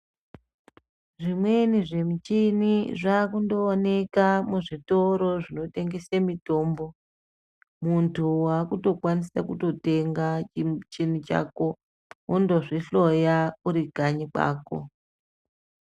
Zvimweni zvimuchini zvakundooneka muzvitoro zvinotengese mitombo, muntu wakutokwanise kutotenga chimuchini chako wondozvihloya uri kanyi kwako.